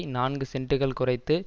நான்கு சென்டுகள் குறைத்து